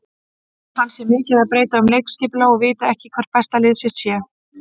Hann sé mikið að breyta um leikskipulag og viti ekki hvert besta lið sitt sé.